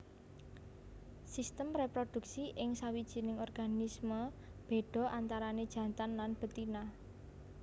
Sistem réproduksi ing sawijining organisme béda antarané jantan lan betina